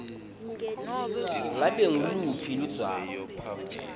ngabe nguluphi ludzaba